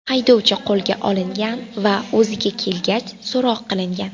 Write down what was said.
Haydovchi qo‘lga olingan va o‘ziga kelgach so‘roq qilingan.